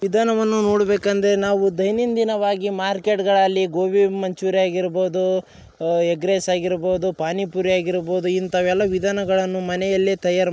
ವಿದಾನವನ್ನು ನೋಡಬೇಕು ಅಂದರೆ ನಾವು ದೈನಂದಿನವಾಗಿ ಮಾರ್ಕೆಟ್ ಗಳಲ್ಲಿ ಗೋಬಿ ಮಂಚೂರಿ ಹಾಗಿರಬಹುದು ಎಗ್ ರೈಸ್ ಹಾಗಿರಬಹುದು ಪಾನಿ ಪುರಿ ಹಾಗಿರಬಹುದು ಇಂತವೆಲ್ಲ ವಿದಾನಗಳನ್ನು ಮನೆಯಲ್ಲೆ ತಯಾರು --